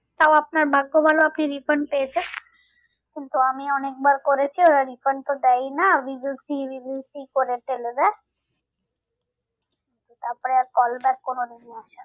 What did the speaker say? তাও আপনার ভাগ্য ভালো আপনি refund পেয়েছেন। কিন্তু আমি অনেকবার করেছি ওরা refund তো দেয়ই না করে ফলে দেয় তারপরে call back কোনো review আসে না।